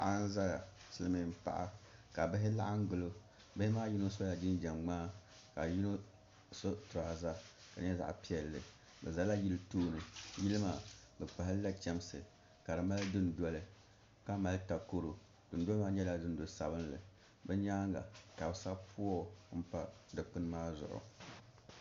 Paɣa n ʒɛya silmiin paɣa ka bihi laɣam gilo bihi maa yino sola jinjɛm ŋmaa ka yino so tiraza ka nyɛ zaɣ piɛlli ka ʒɛ yili tooni yili maa bi kpahalila chɛmsi ka di mali dundoli ka mali takoro dundoli maa nyɛla dundoli sabinli bi nyaanga ka bi sabi puuo pa dikpuni maa zuɣu